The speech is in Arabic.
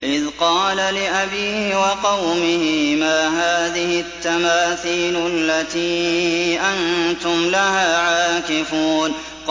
إِذْ قَالَ لِأَبِيهِ وَقَوْمِهِ مَا هَٰذِهِ التَّمَاثِيلُ الَّتِي أَنتُمْ لَهَا عَاكِفُونَ